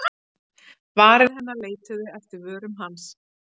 Varir hennar leituðu eftir vörum hans.